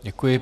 Děkuji.